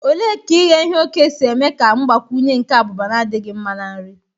Ole ka ighe oke si eme ka mgbakwunye nke abụba na-adịghị mma na nri?